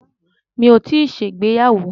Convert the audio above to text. Mi ò tíì ṣègbéyàwó.